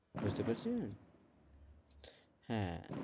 বুঝতে পড়েছেন হ্যাঁ,